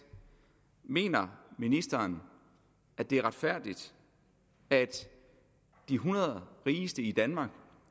mener ministeren at det er retfærdigt at de hundrede rigeste i danmark